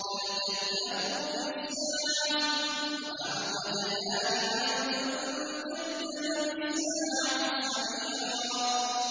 بَلْ كَذَّبُوا بِالسَّاعَةِ ۖ وَأَعْتَدْنَا لِمَن كَذَّبَ بِالسَّاعَةِ سَعِيرًا